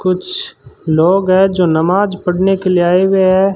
कुछ लोग हैं जो नमाज पढ़ने के लिए आए हुएं हैं।